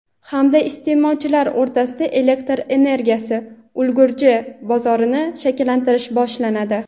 hamda iste’molchilar o‘rtasida elektr energiyasi ulgurji bozorini shakllantirish boshlanadi.